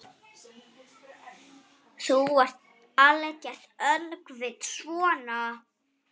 Þú ert algert öngvit svona!